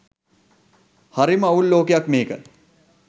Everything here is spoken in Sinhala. හරිම අවුල් ලෝකයක් මේක .